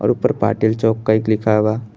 और ऊपर पाटिल चौक लिखा बा।